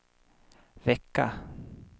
vecka